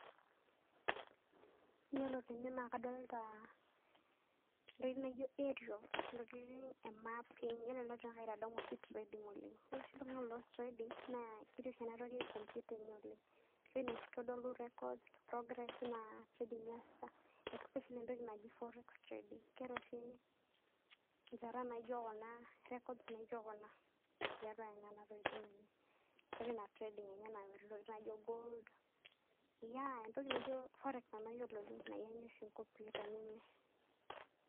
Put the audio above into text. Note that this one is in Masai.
Iyiolo tene naake kadolta ntokitin naijo arials ntokitin e mapping, iyiolo ena naake itadamu oshi trading oleng'. Iyiolo oshi iltung'anak loas traading, naa keti oshi enatoki komputa enye oleng'. Entoki naitodolu records, progress enye ina trading niasita especially entoki naji forex trading, keeta oshi nchata naijo kuna record naijo kuna tiatua nena tokitin enye. Ketii ina trading ntokitin naijo gold. Yea entoki naijo forex nanu ayiolo nae enyor nkomputani enye.